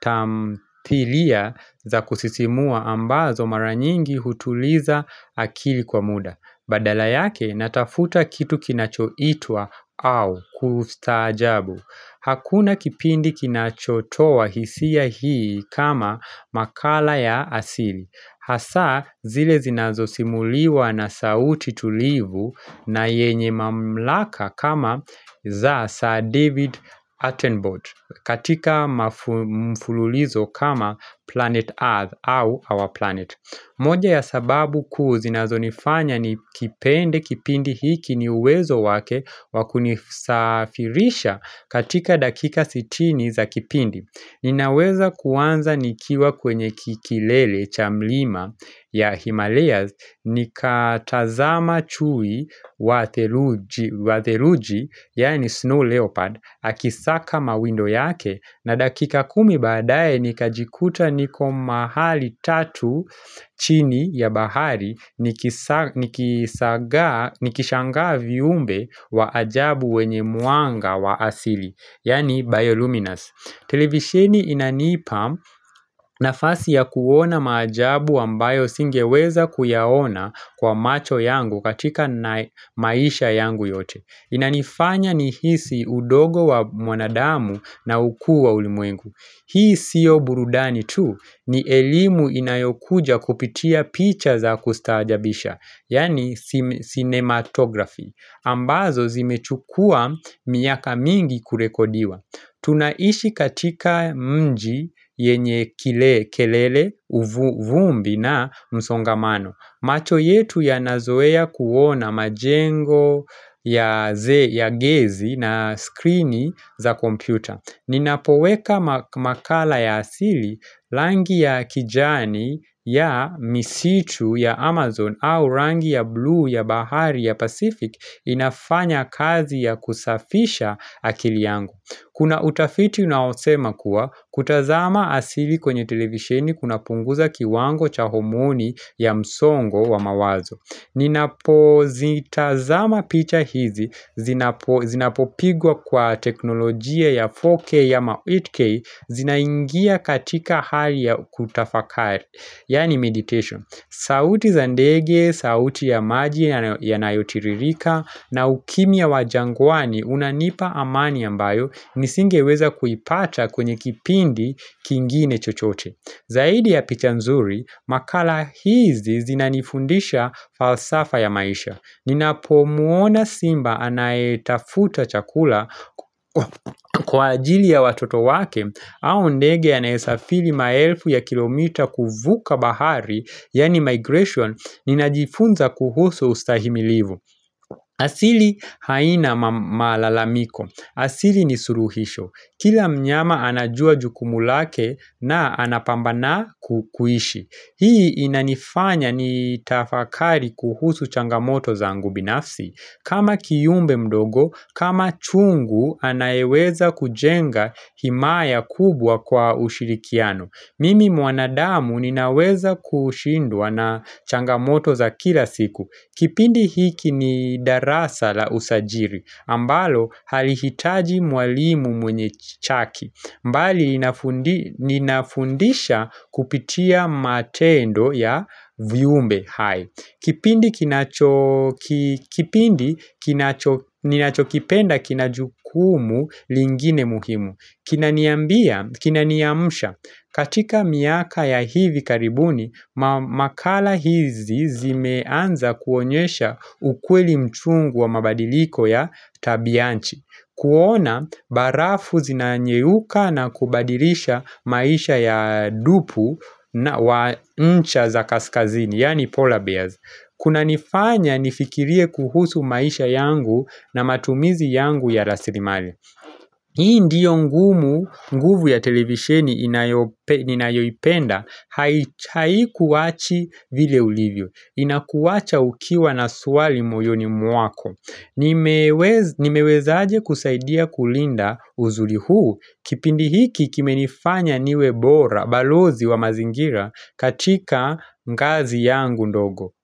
tamthilia za kusisimua ambazo maranyingi hutuliza akili kwa muda. Badala yake natafuta kitu kinachoitwa au kustaajabu. Hakuna kipindi kinachotowa hisia hii kama makala ya asili. Hasa zile zinazosimuliwa na sauti tulivu na yenye mamlaka kama za sir David Attenbot katika mfululizo kama planet earth au our planet. Moja ya sababu kuu zinazonifanya ni kipende kipindi hiki ni uwezo wake wakunisafirisha katika dakika sitini za kipindi. Ninaweza kuwanza nikiwa kwenye kikilele cha mlima ya Himalayas Nikatazama chui wa theluji, yaani snow leopard, akisaka mawindo yake na dakika kumi baadaye nikajikuta niko mahali tatu chini ya bahari Nikishangaa viumbe wa ajabu wenye mwanga wa asili, yaani bioluminas televisheni inanipa nafasi ya kuona maajabu ambayo singeweza kuyaona kwa macho yangu katika naye maisha yangu yote. Inanifanya ni hisi udogo wa mwanadamu na ukuu wa ulimwengu. Hii siyo burudani tu ni elimu inayokuja kupitia picha za kustaajabisha, yani cinematography. Ambazo zimechukua miaka mingi kurekodiwa. Tunaishi katika mji yenye kile kelele uvumbi na msongamano. Macho yetu yanazoea kuona majengo ya gezi na skrini za kompyuta. Ninapoweka makala ya asili langi ya kijani ya misitu ya Amazon au rangi ya blue ya bahari ya Pacific inafanya kazi ya kusafisha akili yangu. Kuna utafiti unaosema kuwa kutazama asili kwenye televisheni kuna punguza kiwango cha homoni ya msongo wa mawazo Ninapo zitazama picha hizi, zinapopigwa kwa teknolojia ya 4K ama 8K zinaingia katika hali ya kutafakari Yani meditation. Sauti za ndege, sauti ya maji ya nayotiririka na ukimya wa jangwani unanipa amani ambayo nisingeweza kuipata kwenye kipindi kingine chochote. Zaidi ya picha nzuri, makala hizi zinanifundisha falsafa ya maisha. Ninapo muona simba anaetafuta chakula kwa ajili ya watoto wake, au ndege anaisafiri maelfu ya kilomita kuvuka bahari, yani migration, ninajifunza kuhusu ustahimilivu. Asili haina malalamiko. Asili ni suluhisho. Kila mnyama anajua jukumu lake na anapambana kuishi. Hii inanifanya ni tafakari kuhusu changamoto zangu binafsi. Kama kiyumbe mdogo, kama chungu anayeweza kujenga himaya kubwa kwa ushirikiano. Mimi mwanadamu ninaweza kushindwa na changamoto za kila siku. Kipindi hiki ni darasa la usajiri. Ambalo halihitaji mwalimu mwenye chaki. Mbali ninafundisha kupitia matendo ya vyumbe hai. Kipindi ninachokipenda kinajukumu lingine muhimu. Kina niambia, kina niamusha, katika miaka ya hivi karibuni, makala hizi zimeanza kuonyesha ukweli mchungu wa mabadiliko ya tabianchi kuona, barafu zina nyeuka na kubadilisha maisha ya dupu wa ncha za kaskazini, yani polar bears kunanifanya nifikirie kuhusu maisha yangu na matumizi yangu ya raslimali Hii ndiyo ngumu, nguvu ya televisheni ninayoipenda, hai hai kuwachi vile ulivyo, inakuwacha ukiwa na swali moyoni mwako. Nimewezaje kusaidia kulinda uzuli huu kipindi hiki kime nifanya niwe bora balozi wa mazingira katika mkazi yangu ndogo.